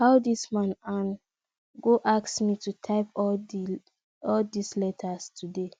how dis man an go ask me to type all dis letters today